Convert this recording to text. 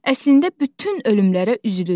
Əslində bütün ölümlərə üzülürük.